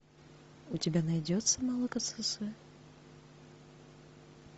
у тебя найдется молокососы